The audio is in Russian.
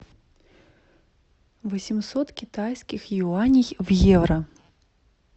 восемьсот китайских юаней в евро